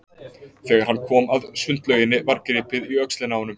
Þegar hann kom að sundlauginni var gripið í öxlina á honum.